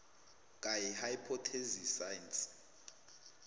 gaia hypothesis science